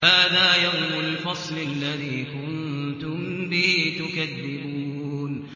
هَٰذَا يَوْمُ الْفَصْلِ الَّذِي كُنتُم بِهِ تُكَذِّبُونَ